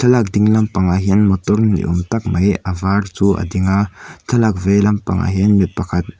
ding lampangah hian motor ni awm tak mai a var chu a ding a thlalak vei lampangah hian mipakhat--